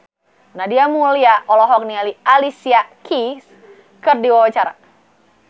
Nadia Mulya olohok ningali Alicia Keys keur diwawancara